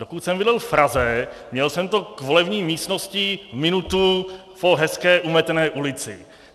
Dokud jsem bydlel v Praze, měl jsem to k volební místnosti minutu po hezké umetené ulici.